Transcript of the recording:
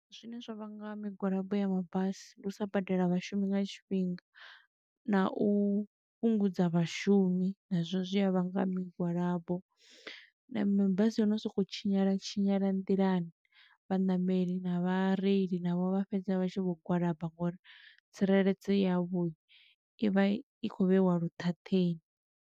Zwine zwa vhanga migwalabo ya mabasi, ndi u sa badela vhashumi nga tshifhinga, na u fhungudza vhashumi, nazwo zwi a vhanga migwalabo. Na mabasi a no sokou tshinyala tshinyala nḓilani, vhaṋameli na vhareili navho vha fhedza vha tshi vho gwalaba ngo uri tsireledzo yavho i vha i khou vheiwa lu ṱhaṱheni.